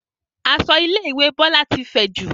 Aṣọ ilé ìwé Bọlá ti fẹ̀jù